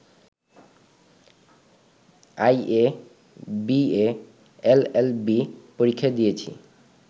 IA, BA, LLB পরীক্ষা দিয়েছি